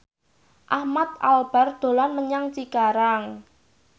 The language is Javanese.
Ahmad Albar dolan menyang Cikarang